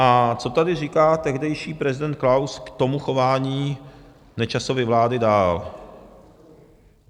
A co tady říká tehdejší prezident Klaus k tomu chování Nečasovy vlády dál?